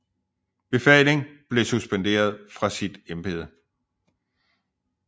Befaling blev suspenderet fra sit Embede